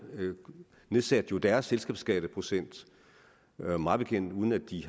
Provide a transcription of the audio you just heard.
nedsatte jo deres selskabsskatteprocent mig bekendt uden at de